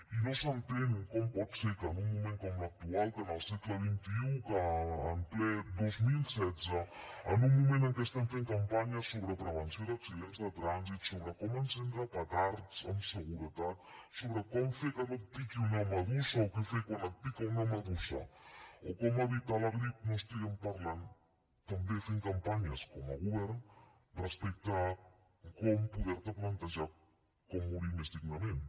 i no s’entén com pot ser que en un moment com l’actual que en el segle xxi que en ple dos mil setze en un moment en què estem fem campanya sobre prevenció d’accidents de trànsit sobre com encendre petards amb seguretat sobre com fer que no et piqui una medusa o què fer quan et pica una medusa o com evitar la grip no estiguem parlant també fent campanyes com a govern respecte a com poder te plantejar com morir més dignament